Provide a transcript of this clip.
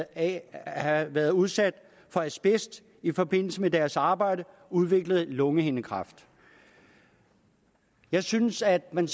at have været udsat for asbest i forbindelse med deres arbejde udviklede lungehindekræft jeg synes at man